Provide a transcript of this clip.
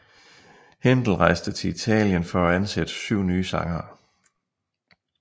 Händel rejste til Italien for at ansætte syv nye sangere